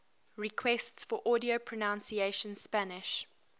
requests for audio pronunciation spanish